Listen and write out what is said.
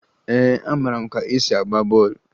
Ee, amara m ka e si agba bọọlụ